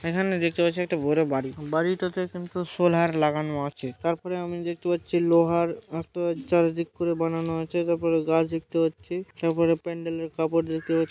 এখানে দেখতে পাচ্ছি একটা বড় বাড়ি। বাড়িটাতে কিন্তু সোলহার লাগানো আছে। তারপরে আমি দেখতে পাচ্ছি লোহার মতো চারিদিক করে বানানো আছে। তারপরে গাছ দেখতে পাচ্ছি। তারপর প্যান্ডেলের কাপড় দেখতে পাচ্ছি।